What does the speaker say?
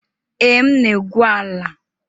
Ee, m na-egwu ala.